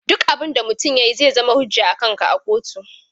Duk abun da mutum ya yi zai zama hujja akanka a kotu.